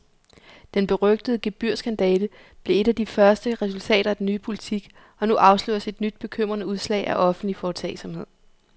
Den berygtede gebyrskandale blev et af de første resultater af den nye politik, og nu afsløres et nyt bekymrende udslag af offentlig foretagsomhed.